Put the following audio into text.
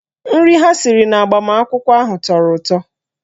Nri ha siri n'agbamakwụkwọ ahụ tọrọ ụtọ